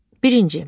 Birinci.